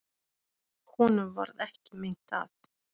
Honum varð ekki meint af.